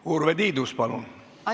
Urve Tiidus, palun!